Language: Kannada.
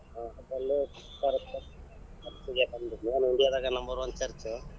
ಹಾ ಅದು ಅಲ್ಲೇ ಐತಿ correct India ದಾಗ number one church .